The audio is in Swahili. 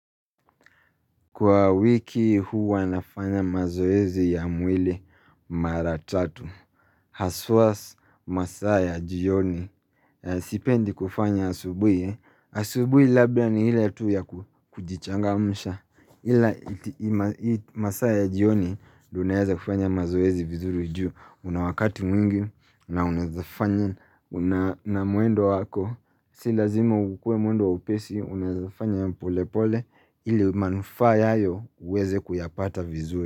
Kwa wiki huwa nafanya mazoezi ya mwili mara tatu Haswa masaa ya jioni Sipendi kufanya asubuhi asubuhi labda ni ile tu ya kujichangamsha Ila masaa ya jioni unaeza kufanya mazoezi vizuru juu una wakati mwingi na unaezafanya na mwendo wako Si lazima ukue mwendo wa upesi Unaezafanya pole pole ili manufaa yayo uweze kuyapata vizuri.